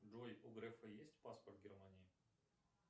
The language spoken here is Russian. джой у грефа есть паспорт германии